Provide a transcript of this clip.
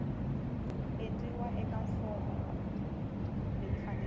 endliwa eka fomo leyi faneleke